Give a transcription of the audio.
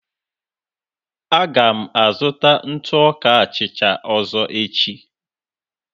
Aga m azụta ntụ ọka achịcha ọzọ echi.